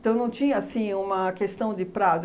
Então não tinha, assim, uma questão de prazo.